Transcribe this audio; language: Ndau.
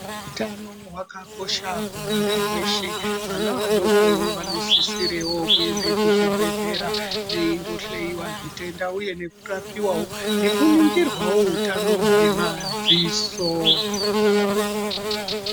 Utano wakakosha kumunthu weshe, vana vadokowo vanosisirewo kuenda muzvibhehlera veindohleyiwa zvitenda uye nekurapiwawo nekuningirwawo utano hwemadziso.